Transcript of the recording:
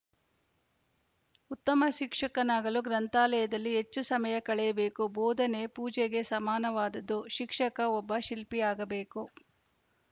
ಉತ್ತಮ ಶಿಕ್ಷಕನಾಗಲು ಗ್ರಂಥಾಲಯದಲ್ಲಿ ಹೆಚ್ಚು ಸಮಯ ಕಳೆಯಬೇಕು ಬೋಧನೆ ಪೂಜೆಗೆ ಸಮಾನವಾದುದು ಶಿಕ್ಷಕ ಒಬ್ಬ ಶಿಲ್ಪಿಯಾಗಬೇಕು